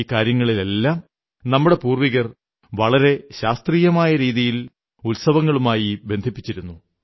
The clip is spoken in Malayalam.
ഈ കാര്യങ്ങളെല്ലാം നമ്മുടെ പൂർവ്വികർ വളരെ ശാസ്ത്രീയമായ രീതിയിൽ ഉത്സവങ്ങളുമായി ബന്ധിപ്പിച്ചിരുന്നു